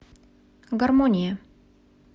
гармония